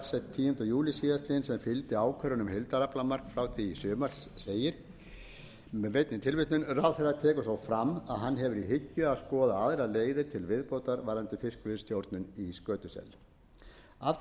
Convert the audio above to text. tíunda júlí síðastliðinn sem fylgdi ákvörðun um heildaraflamark frá því í sumar segir ráðherra tekur þó fram að hann hefur í hyggju að skoða aðrar leiðir til viðbótar varðandi fiskveiðistjórn í skötusel af þessu sést að það